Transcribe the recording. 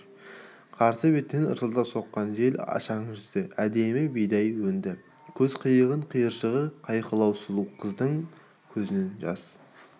қарсы беттен ысылдап соққан жел ашаң жүзді әдемі бидай өнді көз қиығының құйыршығы қайқылау сұлу қыздың көзінен жас